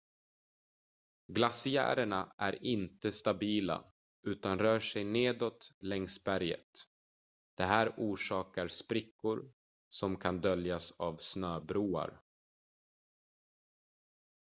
glaciärerna är inte stabila utan rör sig nedåt längs berget det här orsakar sprickor som kan döljas av snöbroar